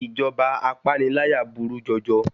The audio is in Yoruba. Ìjọba apániláyà burú jọjọ